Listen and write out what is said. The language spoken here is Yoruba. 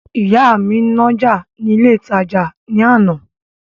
Ìyá mi ń nájà ní ilé ìtajà ní àná